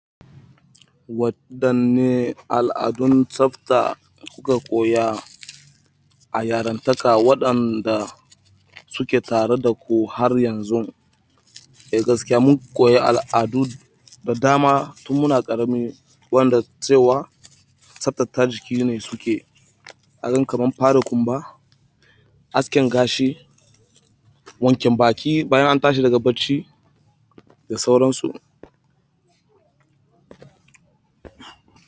Waɗanne al'adun tsafta kuka koya a yarantakarku waɗanda suke tare da ku har yanzu? Eh gaskiya mun koyi al'adu da dama tun muna ƙarami, waɗanda cewa tsaftace jiki ne suke. Kamar yanke kumba aske gashi wanke baki bayan an tashi daga bacci da sauran su.